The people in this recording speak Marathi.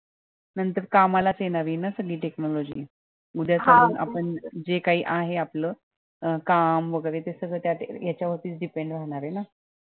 नंतर कामाला च येणार ये न सगळी technology उद्या सगळे आपण जे काही आहे आपलं अं काम वैगेरे हे सगळं यांच्या वर च depend राहणार आहे ना